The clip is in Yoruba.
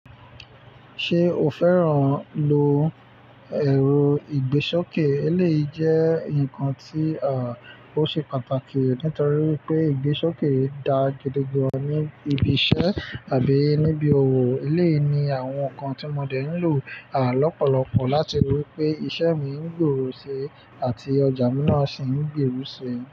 Ṣé o fẹ́ràn lo èrò ìgbésókè? Éléyì jẹ́ ǹkan tí, ó ṣe pàtàkì nítorí pé ìgbésókè dá gidi gan ní ibi iṣẹ́ àbí níbi òwò. Éléyì ni àwọn ǹkan tí mo dẹ̀ ń lò, lọ́pọ̀lọpọ̀ láti rí i pé iṣẹ́ mi ń gbèrú si àti ọjà mi náà sì ń gbèrú si.